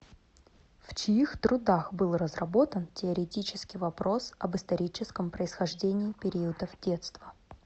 в чьих трудах был разработан теоретически вопрос об историческом происхождении периодов детства